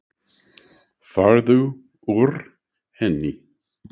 Farðu úr henni.